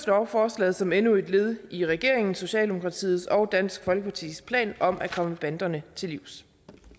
lovforslaget som endnu et led i regeringen socialdemokratiet og dansk folkepartis plan om at komme banderne til livs